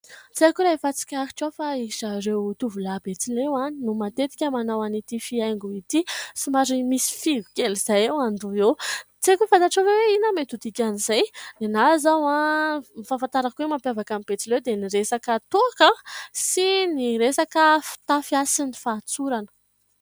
Tsy haiko raha efa tsikaritrao fa ry zareo tovolahy betsileo no matetika manao an'ity fihaingo ity, somary misy fihogo kely izay eo an-doha eo, tsy haiko na fantatrao ve hoe : inona mety ho dikan'izay ? Ny ahy izao ny fahafantarako ny mampiavaka ny betsileo dia ny resaka toaka sy ny resaka fitafy sy ny fahatsorana.